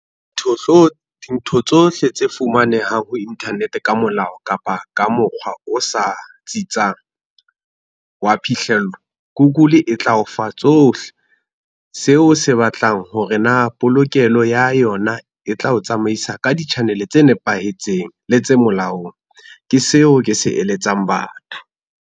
Dintho tsohle tse fumanehang ho internet ka molao kapa ka mokgwa o sa tsitsang, wa phihlello ko Google e tla o fa tsohle, seo o se batlang hore na polokelo ya yona e tla o tsamaisa ka di-channel tse nepahetseng le tse molaong. Ke seo ke se eletsang batho.